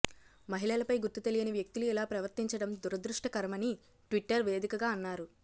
మహిళలపై గుర్తు తెలియని వ్యక్తులు ఇలా ప్రవర్థించడం దురదృష్టకరమని ట్విట్టర్ వేదికగా అన్నారు